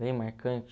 Bem marcante?